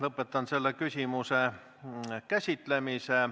Lõpetan selle küsimuse käsitlemise.